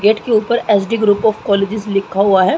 Gate के ऊपर H D group of colleges लिखा हुआ है।